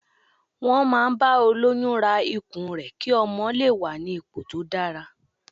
Wọn máa ń bá olóyún ra ikùn rẹ ki ọmọ lè wà ní ipò tó dára.